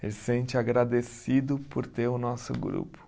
Ele se sente agradecido por ter o nosso grupo.